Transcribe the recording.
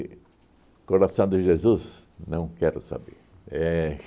Coração de Jesus? Não quero saber. Éh